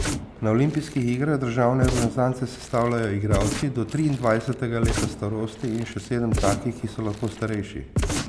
Na olimpijskih igrah državne reprezentance sestavljajo igralci do triindvajsetega leta starosti in še sedem takih, ki so lahko starejši.